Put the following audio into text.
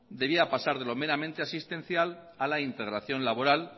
debía pasar de lo meramente existencial a la integración laboral